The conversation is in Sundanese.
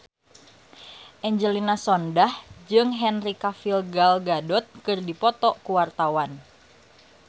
Angelina Sondakh jeung Henry Cavill Gal Gadot keur dipoto ku wartawan